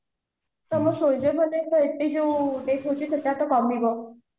ତ soldiers ମାନଙ୍କର ଏତେ ଯୋଉ death ହୋଉଛି ସେଟା ତ କମିବ